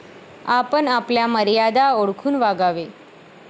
आपण आपल्या मर्यादा ओळखून वागावे.